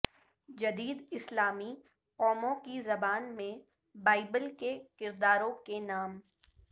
جدید اسلامی قوموں کی زبان میں بائبل کے کرداروں کے نام